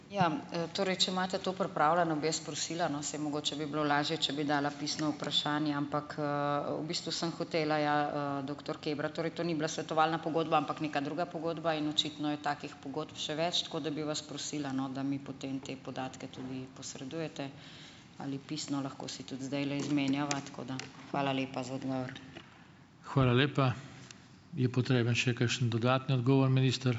Ja, torej, če imate to pripravljeno, bi jaz prosila, no, saj mogoče bi bilo lažje, če bi dala pisno vprašanje, ampak, v bistvu sem hotela, ja, doktor Kebra. Torej, to ni bila svetovalna pogodba, ampak neka druga pogodba, in očitno je takih pogodb še več, tako da bi vas prosila, no, da mi potem te podatke tudi posredujete ali pisno, lahko si tudi zdajle izmenjava, tako da, hvala lepa za odgovor.